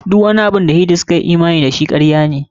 Duk wani abun da Hindu suka yi imani da shi, karya ne.